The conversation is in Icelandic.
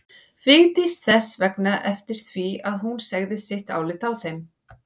Vigdís þess vegna eftir því að hún segði sitt álit á þeim.